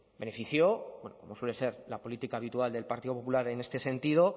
benefició como suele ser la política habitual del partido popular en este sentido